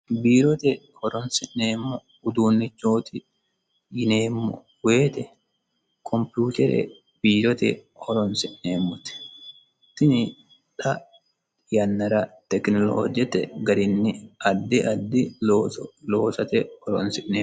biirote horonsi'neemmo uduunnichooti yineemmo woyite kompiyutere biirote horonsi'neemmote tini xa yannara tekinoloojete garinni addi addi looso loosate horonsi'neemo